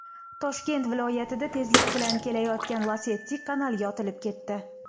Toshkent viloyatida tezlik bilan kelayotgan Lacetti kanalga otilib ketdi .